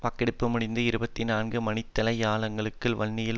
வாக்கெடுப்பு முடிந்து இருபத்தி நான்கு மணித்தியாலங்களுக்குள் வன்னியில்